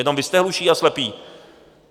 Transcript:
Jenom vy jste hluší a slepí.